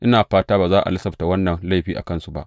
Ina fata ba za a lasafta wannan laifi a kansu ba.